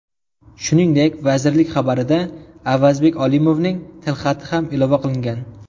Shuningdek, vazirlik xabariga Avazbek Olimovning tilxati ham ilova qilingan.